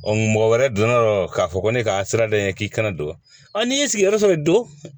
mɔgɔ wɛrɛ donna yɔrɔ k'a fɔ ko ne ka sirada in ye k'i kana don n'i y'i sigiyɔrɔ sɔrɔ i don